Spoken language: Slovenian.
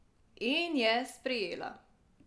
In je sprejela!